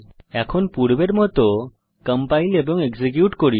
এখন পূর্বের মত কম্পাইল এবং এক্সিকিউট করুন